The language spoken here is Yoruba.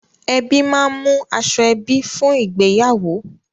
Ẹbí máa ń mú aṣoẹbí fún ìgbéyàwó.